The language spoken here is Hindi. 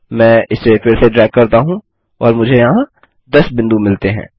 मैं इसे फिर से ड्रैग करता हूँ और मुझे यहाँ 10 बिंदु मिलते हैं